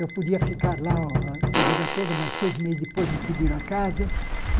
Eu podia ficar lá a a vida toda, mas seis meses depois me pediram a casa.